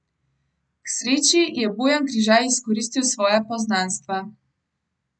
K sreči je Bojan Križaj izkoristil svoja poznanstva.